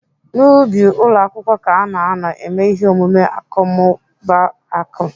N'ubi ụlọ akwụkwọ ka ana anọ eme ihe omume akọmmụbaaku.